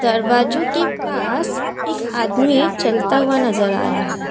दरवाजों के पास एक आदमी चलता हुआ नज़र आ रहा है।